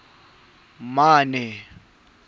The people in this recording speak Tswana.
a le mane go ya